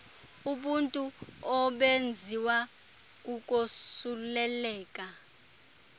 ubuthulu obenziwa kukosuleleka